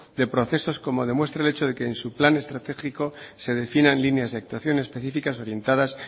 de procesos como demuestra el hecho de que en su plan estratégico se definan líneas de actuación específicas orientadas